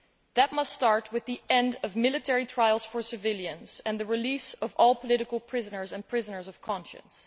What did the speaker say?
That must start with the end of military trials for civilians and the release of all political prisoners and prisoners of conscience.